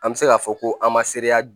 An bɛ se k'a fɔ ko an ma sereya